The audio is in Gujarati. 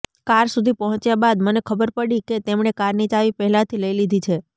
કાર સુધી પહોંચ્યા બાદ મને ખબર પડી કે તેમણે કારની ચાવી પહેલાથી લઈ લીધી છે